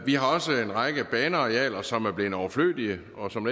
har også en række banearealer som er blevet overflødige og som